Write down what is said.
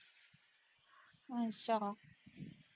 ਅੱਛਾ।